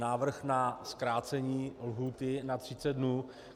Návrh na zkrácení lhůty na 30 dnů.